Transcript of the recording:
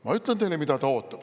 Ma ütlen teile, mida ta ootab.